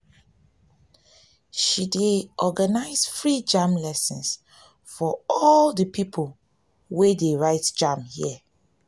she dey organize free jamb lesson for all di pipo wey dey write jamb here.